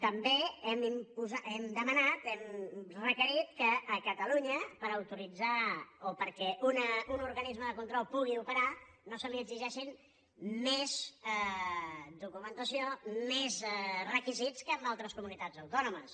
també hem demanat hem requerit que a catalunya per autoritzar o perquè un organisme de control pugui operar no se li exigeixi més documentació més requisits que en altres comunitats autònomes